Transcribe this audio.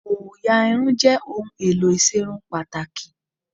Òyà Irun jẹ́ ohun èlò ìserun pàtàkì